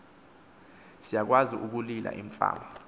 siyakwazi ukulila imfama